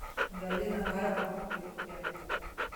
галина карповна пилипенко